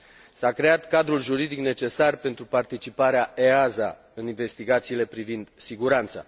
S a creat cadrul juridic necesar pentru participarea EASA în investigațiile privind siguranța.